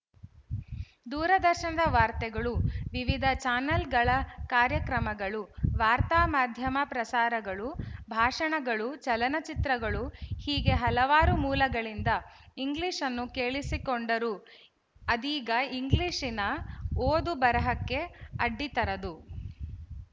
ದೂರದರ್ಶನದ ವಾರ್ತೆಗಳು ವಿವಿಧ ಚಾನೆಲ್‍ಗಳ ಕಾರ್ಯಕ್ರಮಗಳು ವಾರ್ತಾ ಮಾಧ್ಯಮ ಪ್ರಸಾರಗಳು ಭಾಶಣಗಳು ಚಲನಚಿತ್ರಗಳು ಹೀಗೆ ಹಲವಾರು ಮೂಲಗಳಿಂದ ಇಂಗ್ಲಿಶ್‌ನ್ನು ಕೇಳಿಸಿಕೊಂಡರೂ ಅದೀಗ ಇಂಗ್ಲಿಶಿನ ಓದು ಬರೆಹಕ್ಕೆ ಅಡ್ಡಿತರದು